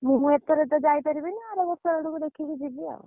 ମୁଁ ଏଥର ତ ଯାଇପାରିବିନି ଆରବର୍ଷ ଆଡକୁ ଦେଖିକି ଯିବି ଆଉ।